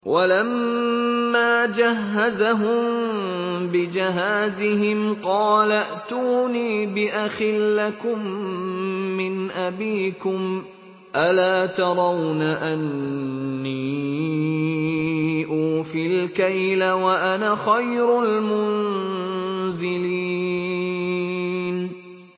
وَلَمَّا جَهَّزَهُم بِجَهَازِهِمْ قَالَ ائْتُونِي بِأَخٍ لَّكُم مِّنْ أَبِيكُمْ ۚ أَلَا تَرَوْنَ أَنِّي أُوفِي الْكَيْلَ وَأَنَا خَيْرُ الْمُنزِلِينَ